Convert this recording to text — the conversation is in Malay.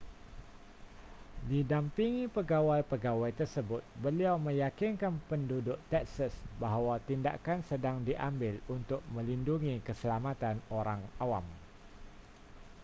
didampingi pegawai-pegawai tersebut beliau meyakinkan penduduk texas bahawa tindakan sedang diambil untuk melindungi keselamatan orang awam